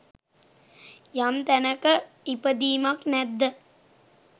යම් තැනක ඉපදීමක් නැද්ද